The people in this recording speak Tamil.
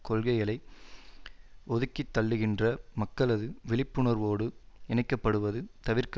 கொள்கைகளை ஒதுக்கித்தள்ளுகின்ற மக்களது விழிப்புணர்வோடு இணைக்கப்படுவது தவிர்க்க